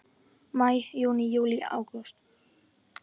Maí Júní Júlí Ágúst